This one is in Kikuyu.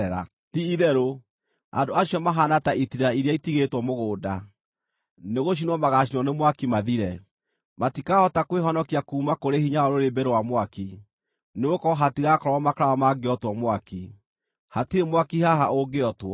Ti-itherũ, andũ acio mahaana ta itira iria itigĩtwo mũgũnda; nĩgũcinwo magaacinwo nĩ mwaki mathire. Matikahota kwĩhonokia kuuma kũrĩ hinya wa rũrĩrĩmbĩ rwa mwaki, nĩgũkorwo hatigaakorwo makara mangĩotwo mwaki; hatirĩ mwaki haha ũngĩotwo.